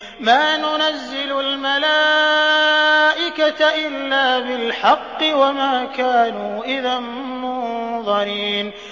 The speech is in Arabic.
مَا نُنَزِّلُ الْمَلَائِكَةَ إِلَّا بِالْحَقِّ وَمَا كَانُوا إِذًا مُّنظَرِينَ